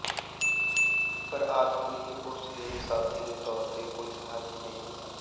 ਪਰ ਆਦਮੀ ਲਈ ਉਸ ਦੇ ਸਾਥੀ ਦੇ ਤੌਰ ਤੇ ਕੋਈ ਸਹਾਇਕ ਨਹੀਂ ਮਿਲਿਆ